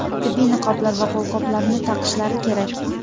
tibbiy niqoblar va qo‘lqoplarni taqishlari kerak.